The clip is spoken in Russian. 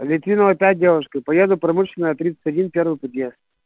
литвинова пять девушка и поеду промышленная тридцать один первый подъезд